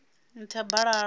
nthabalala